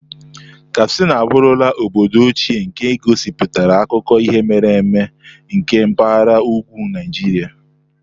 Katsina abụrula obodo ochie nke gosipụtara akụkọ ihe mere eme nke mpahara ugwu Naijiria.